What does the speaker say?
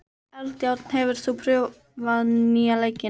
Eldjárn, hefur þú prófað nýja leikinn?